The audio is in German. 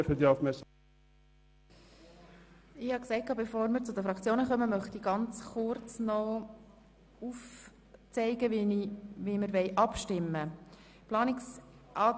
Bevor die Fraktionssprecher zu Wort kommen, möchte ich noch kurz aufzeigen, wie die Abstimmung vonstattengehen wird.